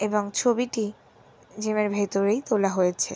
এবং ছবিটি জিম এর ভেতরেই তোলা হয়েছে।